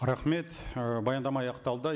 рахмет ы баяндама аяқталды